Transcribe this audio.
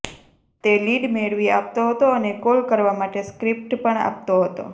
તે લીડ મેળવી આપતો હતો અને કોલ કરવા માટે સ્ક્રીપ્ટ પણ આપતો હતો